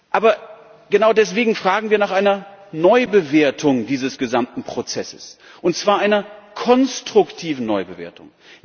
Aber genau deswegen fragen wir nach einer Neubewertung dieses gesamten Prozesses, und zwar einer konstruktiven Neubewertung.